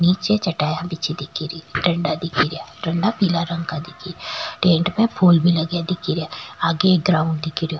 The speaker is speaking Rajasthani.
नीचे चटाईया बिछी दिखेरी डंडा दिखेरा डंडा पीला रंग का दिखे रा टेंट में फूल भी लगया दिखेरा आगे एक ग्राउंड दिखे रो।